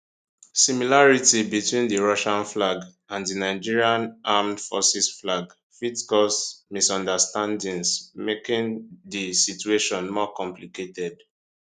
similarity between di russian flag and di nigerian armed forces flag fit cause misunderstandings making di situation more complicated